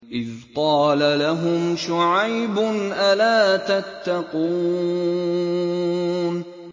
إِذْ قَالَ لَهُمْ شُعَيْبٌ أَلَا تَتَّقُونَ